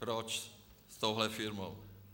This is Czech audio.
Proč s touhle firmou.